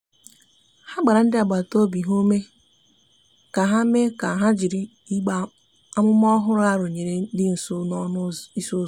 ha gbara ndi agbata obi ha ume ha ume ka ha jịrị igbe amụma ọhụrụ a rụnyere di nso n'ọnụ ịsị uzọ.